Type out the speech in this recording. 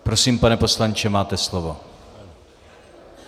Prosím, pane poslanče, máte slovo.